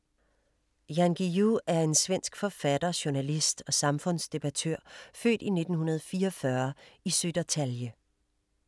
Jan Guillou er en svensk forfatter, journalist og samfundsdebattør, født i 1944 i Södertalje.